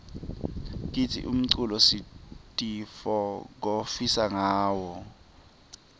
kantsi umculo sitifokotisa ngawo